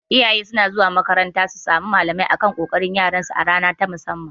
Iyaye suna zuwa makaranta su samu malamai akan ƙoƙarin yaran su a rana ta musamman